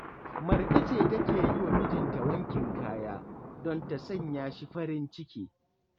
Marka ce take yi wa mijinta wankin kaya, don ta sanya shi farin ciki